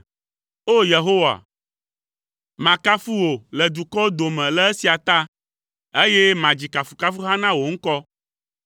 O! Yehowa, makafu wò le dukɔwo dome le esia ta, eye madzi kafukafuha na wò ŋkɔ.